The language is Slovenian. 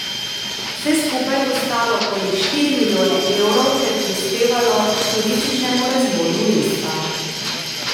Vse skupaj bo stalo okoli štiri milijone evrov ter prispevalo k turističnemu razvoju mesta.